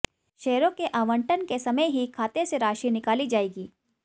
शेयरों के आवंटन के समय ही खाते से राशि निकाली जाएगी